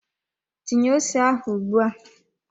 Tinye ose ahụ ugbua!